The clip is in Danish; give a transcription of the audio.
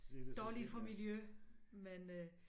Dårlig for miljø men øh